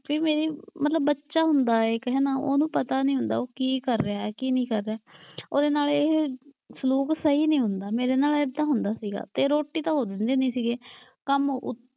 ਫਿਰ ਮੇਰੀ ਮਤਲਬ ਬੱਚਾ ਹੁੰਦਾ ਇੱਕ ਹੈਨਾ, ਉਹਨੂੰ ਪਤਾ ਨਈਂ ਹੁੰਦਾ ਕੀ ਕਰ ਰਿਹਾ ਕੀ ਨਈਂ ਕਰ ਰਿਹਾ। ਉਹਦੇ ਨਾਲ ਇਹ ਸਲੂਕ ਸਹੀ ਨਈਂ ਹੁੰਦਾ, ਮੇਰੇ ਨਾਲ ਏਦਾਂ ਹੁੰਦਾ ਸੀਗਾ ਤੇ ਰੋਟੀ ਤਾਂ ਉਹ ਦਿੰਦੇ ਨੀ ਸੀਗੇ। ਕੰਮ,